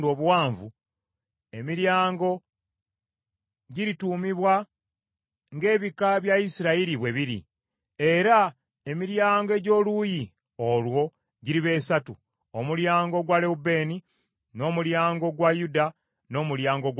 emiryango girituumibwa ng’ebika bya Isirayiri bwe biri. Era emiryango egy’oluuyi olwo giriba esatu, omulyango ogwa Lewubeeni, n’omulyango ogwa Yuda n’omulyango gwa Leevi.